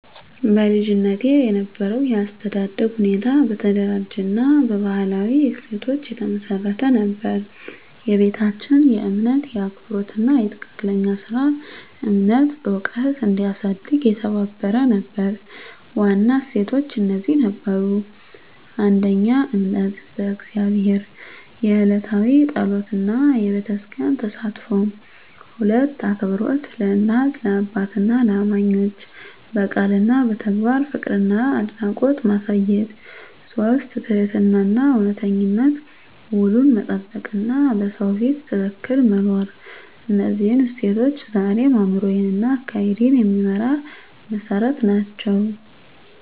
በልጅነቴ የነበረው የአስተዳደግ ሁኔታ በተደራጀ እና በባህላዊ እሴቶች የተመሰረተ ነበር። ቤታችን የእምነት፣ የአክብሮት እና የትክክለኛ ሥራ እምነት ዕውቀት እንዲያሳድግ የተባበረ ነበር። ዋና እሴቶች እነዚህ ነበሩ: 1. እምነት በእግዚአብሔር፣ የዕለታዊ ጸሎት እና በቤተክርስቲያን ተሳትፎ። 2. አክብሮት ለእናት፣ ለአባትና ለእማኞች፣ በቃል እና በተግባር ፍቅርና አድናቆት ማሳየት። 3. ትህትናና እውነተኝነት፣ ውሉን መጠበቅ እና በሰው ፊት ትክክል መኖር። እነዚህ እሴቶች ዛሬም አእምሮዬን እና አካሄዴን የሚመራ መሠረት ናቸው።